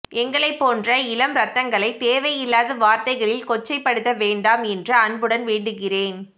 எங்களை போன்ற இளம் இரத்தங்களை தேவை இல்லாத வார்த்தைகளில் கொச்சை படுத்த வேண்டாம் என்று அன்புடன் வேண்டுகிறேன்